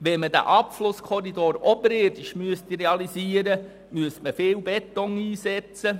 Würde man den Abflusskorridor oberirdisch realisieren, müsste viel Beton eingesetzt werden.